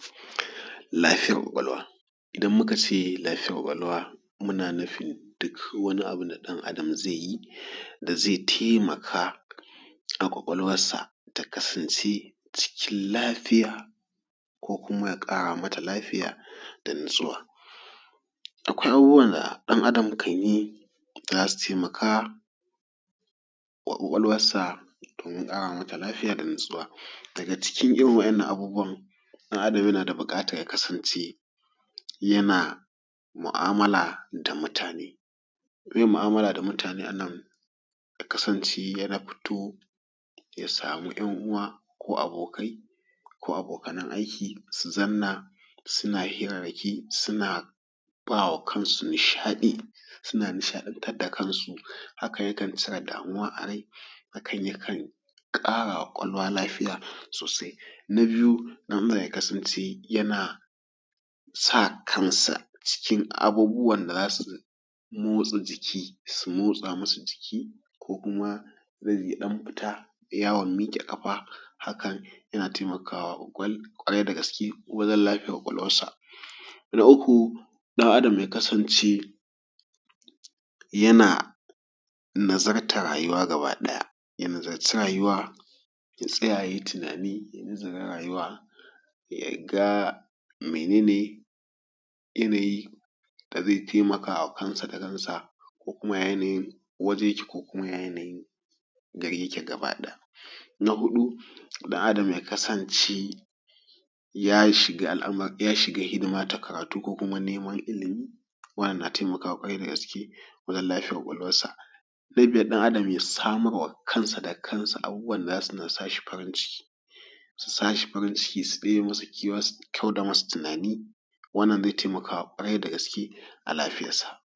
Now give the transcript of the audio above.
Lafiyar ƙwaƙwalwa. Idan muka ce lafiyar ƙwaƙwalwa, muna nufin duk wani abun da ɗan adam zai yi, da zai taimaka a ƙwaƙwalwas sa ta kasance cikin lafiya ko kuma ya ƙara mata lafiya da natsuwa. Akwai abubuwa da ɗan Adam kan yi da za su taimaka wa ƙwaƙwalwas sa domin ƙara mata lafiya da natsuwa. Daga cikin irin wa'innan abubuwan ɗan adam yana da buƙatan ya kasance yana mu'amala da mutane. Meye mu'amala da mutane a nan, ya kasance ya futo ya sama ƴan uwa ko abokai ko abokanan aiki sun zanna suna hirarraki, suna ba wa kansu nishaɗi, suna nishaɗantar da kansu, haka yakan cire damuwa a rai, hakan ya kan ƙarawa ƙwaƙwalwa lafiya sosai. Na biyu; ɗan adam ya kasance yana sa kan sa cikin abubuwan da za su motsa jiki, su motsa masa jiki ko kuma zai ya ɗan futa yaawan miƙe kafa haka, yana taimakawa ƙwarai dagaske ko dan lafiyar ƙwaƙwalwarsa. Na uku; ɗan adam ya kasance yana nazartar rayuwa gaba ɗaya, ya nazarci rayuwa ya tsaya yayi tunani, ya nazara rayuwa ya ga mene ne yanayi da zai taimaka wa kansa da kansa, ko kuma ya yanayin waje yake, ko kuma ya yanayin garin yake gaba ɗaya. Na huɗu: ɗan adam ya kasance ya shiga al'amuran ya shiga hidima ta karatu, ko kuma neman ilimi, wannan na taimakawa ƙwarai dagaske wajan lafiyar ƙwaƙwalwarsa. Na biyar: ɗan adam ya samar wa kansa da kansa abubuwan da za su ɗan sa shi farin ciki, su sa farin ciki su ɗebe masa kewa su kauda masa tunani, wannan zai taimakawa ƙwarai dagaske ga lafiyarsa.